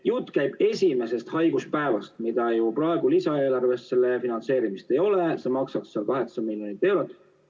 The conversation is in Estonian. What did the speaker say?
Jutt käib esimesest haiguspäevast, mida ju praegu lisaeelarvest ei finantseerita, see maksaks 8 miljonit eurot.